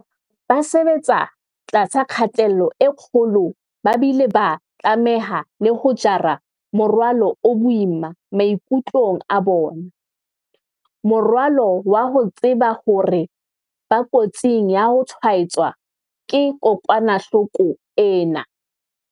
Ba sebetsa tlasa kgatello e kgolo ba bile ba tlameha le ho jara morwalo o boima maikutlong a bona, morwalo wa ho tseba hore ba kotsing ya ho tshwaetswa ke kokwanahloko ena.